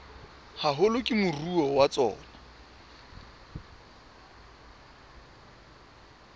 haholo ke moruo wa tsona